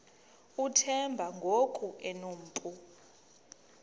uthemba ngoku enompu